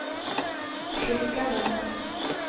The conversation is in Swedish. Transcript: skickade